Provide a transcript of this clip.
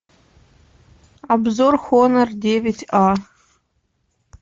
обзор хонор девять а